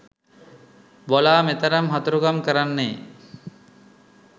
බොලා මෙතරම් හතුරුකම් කරන්නේ